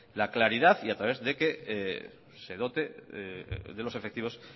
la claridad y a través de que se dote de los efectivos